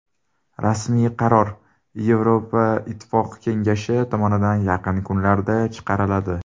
Rasmiy qaror Yevroittifoq kengashi tomonidan yaqin kunlarda chiqariladi.